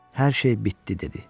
Hər şey bitdi dedi.